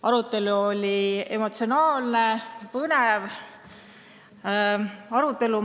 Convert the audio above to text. Arutelu oli emotsionaalne ja põnev.